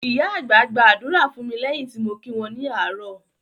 Ìyá àgbà gba ádùrá fún mi lẹ́yìn tí mo kí wọn ní àárò